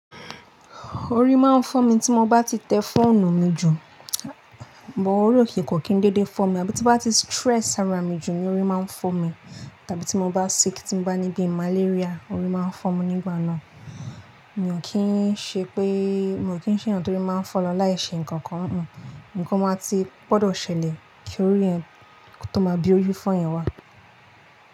Orí máa ń fọ́ mi tí mo bá ti tẹ fóònù mi jù, àmọ́ orí ko kì n dédé fọ́ mi, àbí tí bá ti stress ara mi jù ni orí máa ń fọ́ mi, tàbí tí mo bá sick, tí mo bá ní bíi malaria, orí máa ń fọ́ mi nígbà náà. Mí ò kín ń ṣe pé, mi ò kín ń ṣeyàn torí máa ń fọ́ lọ láìṣe nǹkan kan, nǹkan máa ti gbọdọ̀ ṣẹlẹ̀ kí orí ẹ tó máa bí orí fọ́yín wa.